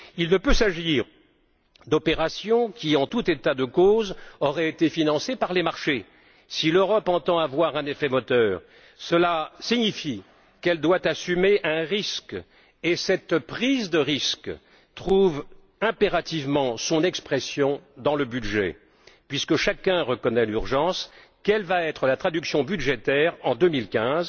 Il ne peut s'agir d'opérations qui, en tout état de cause, auraient été financées par les marchés. Si l'Europe entend avoir un effet moteur, cela signifie qu'elle doit assumer un risque, et cette prise de risque trouve impérativement son expression dans le budget. Puisque chacun reconnaît l'urgence, quelle va être la traduction budgétaire en 2015?